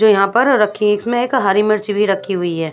जो यहां पर रखी इसमें एक हरी मिर्च भी रखी हुई है।